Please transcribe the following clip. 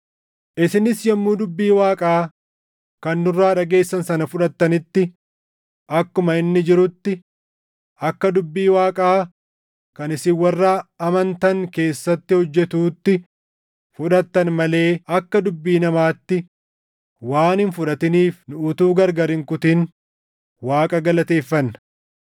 Isinis yommuu dubbii Waaqaa kan nurraa dhageessan sana fudhattanitti akkuma inni jirutti, akka dubbii Waaqaa kan isin warra amantan keessatti hojjetuutti fudhattan malee akka dubbii namaatti waan hin fudhatiniif nu utuu gargar hin kutin Waaqa galateeffanna.